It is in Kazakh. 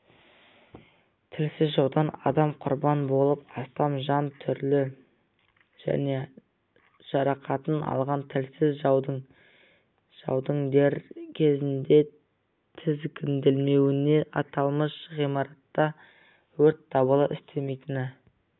тілсіз жаудан адам құрбан болып астам жан түрлі дене жарақатын алған тілсіз жаудың дер кезінде тізгінделмеуіне аталмыш ғимаратта өрт дабылы істемейтіні